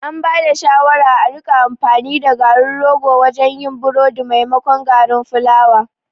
An bada shawara a rika amfani da garin rogo wajen yin burodi maimakon garin fulawa